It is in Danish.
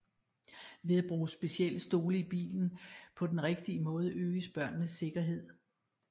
Ved at bruge specielle stole i bilen på den rigtige måde øges børnenes sikkerhed